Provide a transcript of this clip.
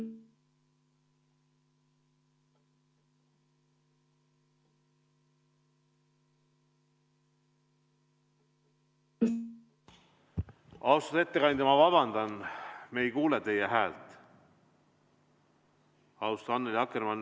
Austatud ettekandja, me ei kuule teie häält.